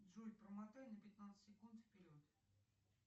джой промотай на пятнадцать секунд вперед